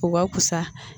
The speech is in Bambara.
U ka fusa